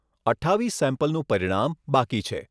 અઠ્ઠાવીસ સેમ્પલનું પરિણામ બાકી છે.